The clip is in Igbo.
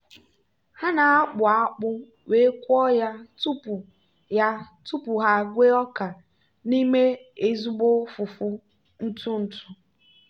ha na-akpụ akpụ wee kụọ ya tupu ya tupu ha egwe ọka n'ime ezigbo fufu ntụ ntụ.